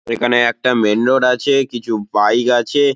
এখানে একটা main road আছে-এ কিছু বাইক আছে-এ ।